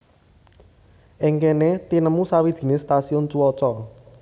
Ing kéné tinemu sawijiné stasiun cuaca